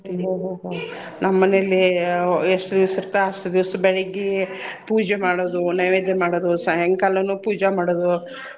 ಹ್ಮ್ ಹ್ಮ್ ಹ್ಮ್ ನಮ್ ಮನೇಲಿ ಎಷ್ಟ್ ದೀವ್ಸ್ ಇರ್ತ ಅಷ್ಟ್ ದೀವ್ಸ್ ಬೆಳಿಗ್ಗಿ ಪೂಜೆ ಮಾಡೋದು ನೈವೇದ್ಯ ಮಾಡೋದು ಸಾಯಂಕಾಲಾನು ಪೂಜೆ ಮಾಡೋದು.